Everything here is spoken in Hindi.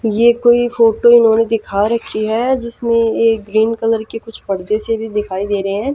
ये कोई फोटो इन्होंने दिखा रखी है जिसमें ये ग्रीन कलर के कुछ परदे से भी दिखाई दे रहे हैं--